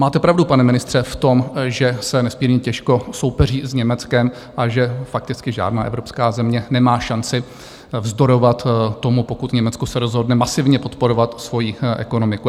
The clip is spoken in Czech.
Máte pravdu, pane ministře, v tom, že se nesmírně těžko soupeří s Německem a že fakticky žádná evropská země nemá šanci vzdorovat tomu, pokud Německo se rozhodne masivně podporovat svoji ekonomiku.